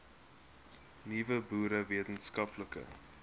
nuwe boere wetenskaplike